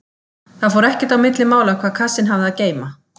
Það fór ekkert á milli mála hvað kassinn hafði að geyma.